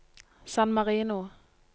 San Marino